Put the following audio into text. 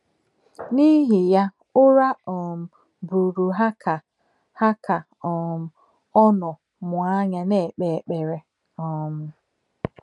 N’ìhì yà, ǔrà um bùrù hà kà hà kà um ò nọ́ mụ̀ ànyà nà-èkpè ékperè. um